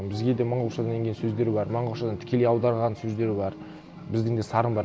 бізге де монғолшадан енген сөздер бар монғолшадан тікелей аударған сөздер бар біздің де сарын бар